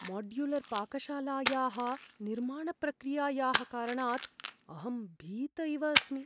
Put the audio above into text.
माड्युलर्पाकशालायाः निर्माणप्रक्रियायाः कारणात् अहं भीत इव अस्मि।